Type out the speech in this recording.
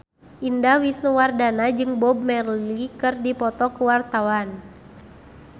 Indah Wisnuwardana jeung Bob Marley keur dipoto ku wartawan